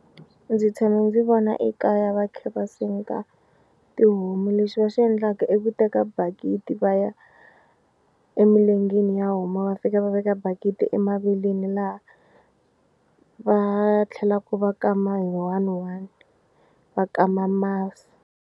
Ndzi tshame ndzi vona ekaya va kha va senga tihomu lexi va xi endlaka i ku teka bakiti va ya emilengeni ya homu va fika va veka bakiti emaveleni laha va tlhelaku va kama hi one one va kama masi.